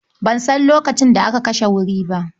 Ban san lokacin da aka kashe wuri ba.